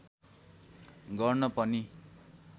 गर्न पनि